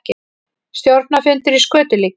Stjórnarfundur í skötulíki